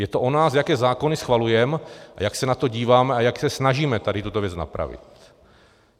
Je to o nás, jaké zákony schvalujeme a jak se na to díváme a jak se snažíme tady tuto věc napravit.